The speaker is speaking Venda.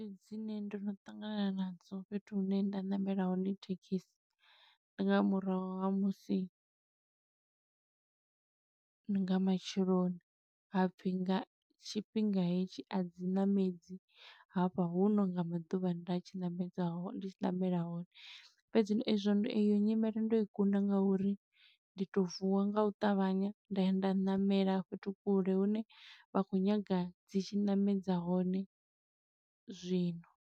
Dzine ndo no ṱangana nadzo fhethu hune nda ṋamela hone thekhisi. Ndi nga murahu ha musi, ndi nga matsheloni, ha pfi nga tshifhinga hetshi a dzi ṋamedzi hafha. Hu no nga maḓuvha nda tshi ṋamedza hone ndi tshi ṋamela hone. Fhedzi ezwo eyo nyimelo ndo i kunda nga uri ndi to vuwa nga u ṱavhanya nda ya nda ṋamela fhethu kule hune vha khou nyaga dzi tshi ṋamedza hone zwino.